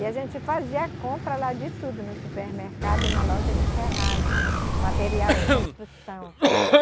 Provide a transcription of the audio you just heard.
E a gente fazia a compra lá de tudo, no supermercado e na loja de ferragem, material de construção.